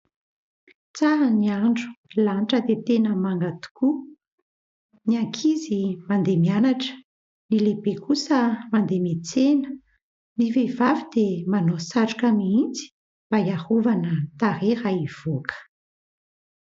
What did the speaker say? Tsara ny andro, ny lanitra dia tena manga tokoa. Ny ankizy mandeha mianatra, ny lehibe kosa mandeha miantsena. Ny vehivavy dia manao satroka mihitsy mba hiarovana tarehy raha hivoaka.